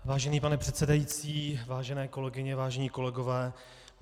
Vážený pane předsedající, vážené kolegyně, vážení kolegové.